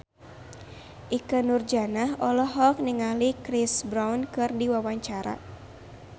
Ikke Nurjanah olohok ningali Chris Brown keur diwawancara